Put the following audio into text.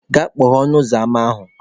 Gaa kpọghee ọnụ ụzọ ama ahụ!